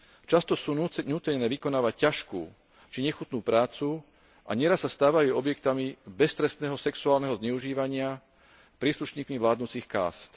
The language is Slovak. Často sú nútené vykonávať ťažkú či nechutnú prácu a neraz sa stávajú objektmi beztrestného sexuálneho zneužívania príslušníkmi vládnucich kást.